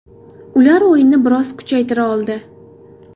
Ular o‘yinni biroz kuchaytira oldi.